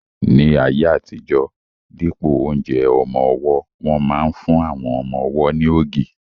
Ní ayé àtijọ́, dípò oúnjẹ ọmọ-ọwọ́, wọ́n máa n fún àwọn ọmọ-ọwọ́ ní ògì